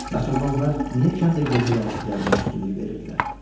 Bəs onda onlar niyə kəndə gecə yarısı gəlməyə üstünlük verirdilər?